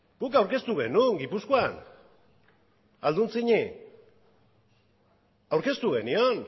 guk aurkeztu genuen gipuzkoan alduntzini aurkeztu genion